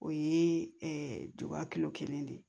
O ye duwawu kelen de ye